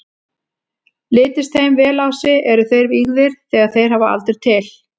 Lítist þeim vel á sig, eru þeir vígðir þegar þeir hafa aldur til.